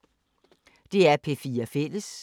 DR P4 Fælles